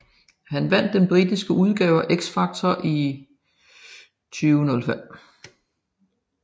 Han vandt den britiske udgave af X Factor i 2005